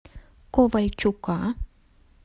ковальчука